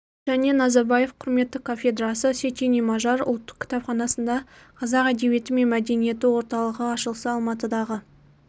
және назарбаев құрметті кафедрасы сечени мажар ұлттық кітапханасында қазақ әдебиеті мен мәдениеті орталығы ашылса алматыдағы